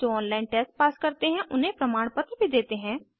जो online test pass करते हैं उन्हें प्रमाण पत्र भी देते हैं